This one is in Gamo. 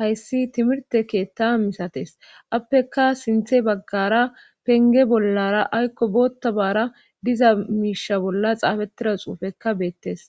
hayssi timirte keetta misates appeka sinthe baggara penge bollara aykko boottabaara diza miisha bolla xaafettida xuufekka beettes